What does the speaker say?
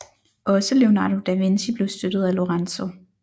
Også Leonardo da Vinci blev støttet af Lorenzo